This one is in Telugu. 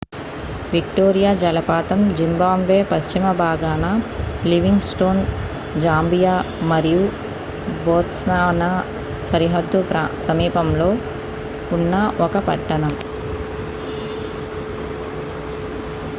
విక్టోరియా జలపాతం జింబాబ్వే పశ్చిమ భాగాన లివింగ్ స్టోన్ జాంబియా మరియు బోత్స్వానా సరిహద్దు సమీపంలో ఉన్న ఒక పట్టణం